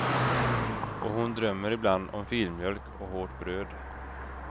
Och hon drömmer ibland om filmjölk och hårt bröd.